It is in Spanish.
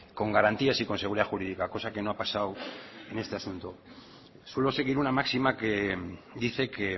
con garantías y con seguridad jurídica cosa que no ha pasado en este asunto suelo seguir una máxima que dice que